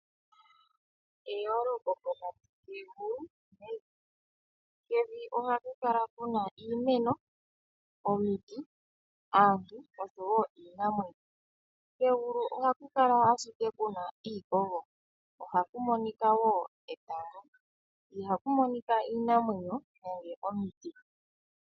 Eyooloko pokati kegulu nevi. Kevi ohaku kala kuna iimeno, omiti, aantu oshowo iinamwenyo. Kegulu ohaku kala kuna ashike iikogo, ohaku monika wo etango. Ihaku monika iinamwenyo nenge omiti.